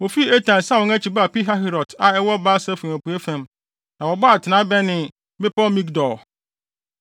Wofii Etam san wɔn akyi baa Pihahirot a ɛwɔ Baal-Sefon apuei fam, na wɔbɔɔ atenae bɛnee bepɔw Migdol.